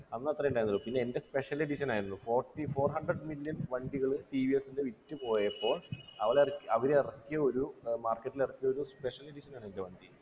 അന്നത്രെ ഉണ്ടായിരുന്നുള്ളു പിന്നെ എൻ്റെ special edition ആയിരുന്നു forty four hundred million വണ്ടികള് ടി വി എസ്ൻ്റെ വിറ്റു പോയപ്പോ അവള അവരെറക്കിയൊരു ഏർ market ൽ ഇറക്കിയ ഒരു special edition ആണ് എൻ്റെ വണ്ടി